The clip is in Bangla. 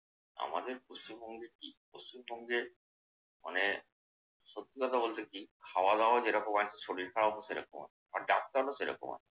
আমাদের পশ্চিমবঙ্গে কি পশ্চিমবঙ্গে মানে সত্যি কথা বলতে কি খাওয়া-দাওয়া যেরকম হয় শরীর খারাপ ও সেরকম হয় আবার ডাক্তারও সেরকম হয়।